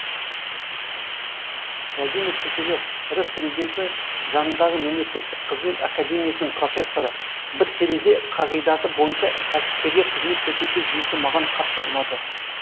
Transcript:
владимир киселов рф президенті жанындағы мемлекеттік қызмет академиясының профессоры бір терезе қағидаты бойынша кәсіпкерге қызмет көрсету жүйесі маған қатты ұнады